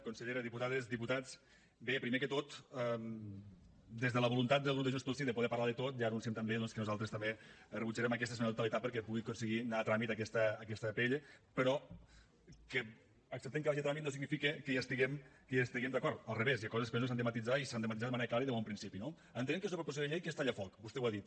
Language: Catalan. consellera diputades diputats bé primer de tot des de la voluntat del grup de junts pel sí de poder parlar de tot ja anunciem també doncs que nosaltres també rebutjarem aquesta esmena a la totalitat perquè pugui aconseguir anar a tràmit aquesta pl però que acceptem que vagi a tràmit no significa que hi estiguem d’acord al revés hi ha coses que s’han de matisar i s’han de matisar de manera clara i de bon principi no entenem que és una proposició de llei que és tallafoc vostè ho ha dit